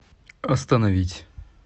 остановить